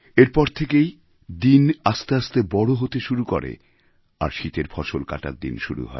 এরপর থেকেই দিন আস্তে আস্তে বড় হতে শুরু করে আর শীতের ফসল কাটার দিন শুরু হয়